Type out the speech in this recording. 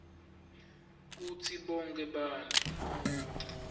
kutsi bonkhe bantfu